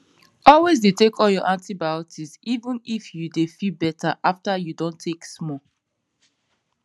always dey use all your antibiotics even if you dey feel better after you don take small